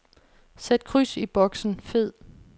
Sæt kryds i boksen fed.